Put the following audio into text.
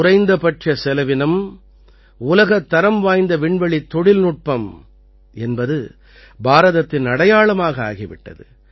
குறைந்தபட்ச செலவினம் உலகத்தரம் வாய்ந்த விண்வெளித் தொழில்நுட்பம் என்பது பாரதத்தின் அடையாளமாக ஆகி விட்டது